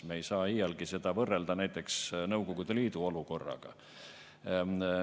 Me ei saa iialgi seda võrrelda näiteks Nõukogude Liidu olukorraga.